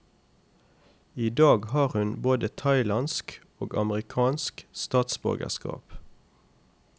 I dag har hun både thailandsk og amerikansk statsborgerskap.